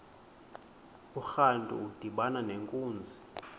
urantu udibana nenkunzi